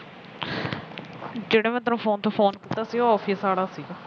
ਜਿਹੜਾ ਮੈ ਤੈਨੂੰ phone ਤੇ phone ਕੀਤਾ ਸੀ ਉਹ